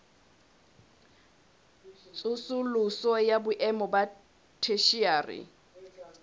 tsosoloso ya boemo ba theshiari